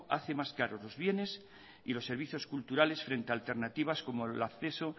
hace más caro los bienes y los servicios culturales frente alternativas como el acceso